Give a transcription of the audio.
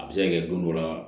A bɛ se ka kɛ don dɔ la